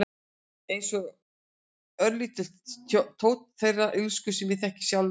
Einsog örlítill tónn þeirrar illsku sem ég þekki í sjálfri mér.